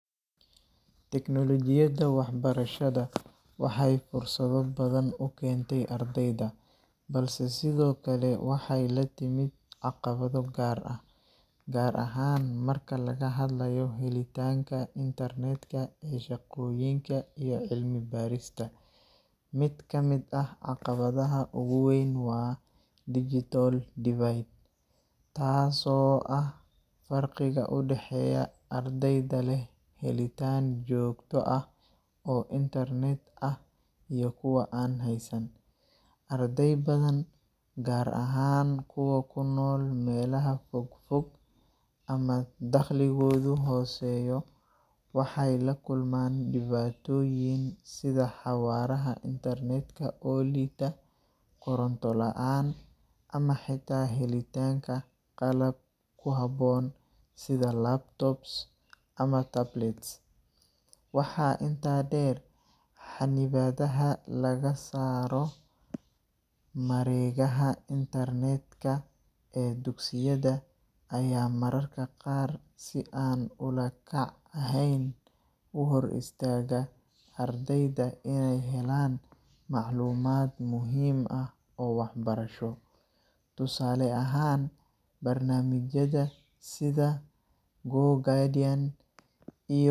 Teknolojiyada waxbarashada waxay fursado badan u keentay ardayda, balse sidoo kale waxay la timid caqabado gaar ah, gaar ahaan marka laga hadlayo helitaanka internet-ka ee shaqooyinka iyo cilmi-baarista. Mid ka mid ah caqabadaha ugu weyn waa digital divide, taasoo ah farqiga u dhexeeya ardayda leh helitaan joogto ah oo internet ah iyo kuwa aan haysan. Arday badan, gaar ahaan kuwa ku nool meelaha fogfog ama dakhligoodu hooseeyo, waxay la kulmaan dhibaatooyin sida xawaaraha internet-ka oo liita, koronto la’aan, ama xitaa helitaanka qalab ku habboon sida laptops ama tablets. Intaa waxaa dheer, xannibaadaha laga saaro mareegaha internet-ka ee dugsiyada ayaa mararka qaar si aan ula kac ahayn u hor istaaga ardayda inay helaan macluumaad muhiim ah oo waxbarasho. Tusaale ahaan, barnaamijyada sida GoGuardian iyo.